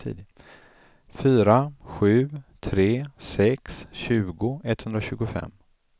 fyra sju tre sex tjugo etthundratjugofem